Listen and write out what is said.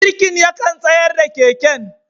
Birkin yakan tsayar da keken.